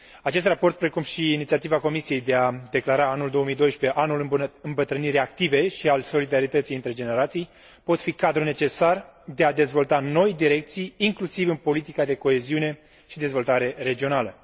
Acest raport, precum și inițiativa Comisiei de a declara anul 2012 anul îmbătrânirii active și al solidarității între generații, pot fi un cadru necesar pentru a dezvolta noi direcții, inclusiv în politica de coeziune și dezvoltarea regională.